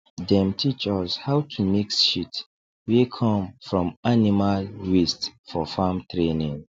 dem teach us how to mix shit wey come from animal waste for farm training